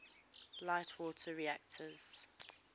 light water reactors